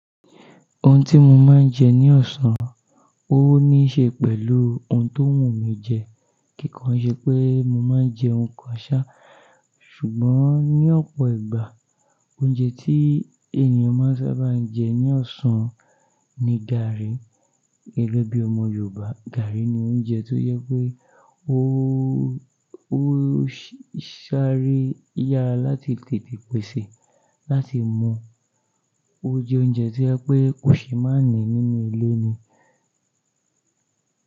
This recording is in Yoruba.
Ohun tí mo máa ń jẹ ní ọ̀sán, ó níí ṣe pẹ̀lú ohun tó wù mí jẹ. Kìkan ṣe pé mo máa ń jẹ ohun kan ṣá, ṣùgbọ́n ní ọ̀pọ̀ ìgbà, oúnjẹ tí ènìyàn máa ń sábà jẹ ní ọ̀sán ni gààrí. Gege bi ọmọ Yorùbá, gààrí ní oúnjẹ tó jẹ pé ó, ó ṣàare yara láti tètè pèsè, láti mọ̀. Ó jẹ oúnjẹ tí o jẹ pé kò ṣe máà ní nínú ilé ni.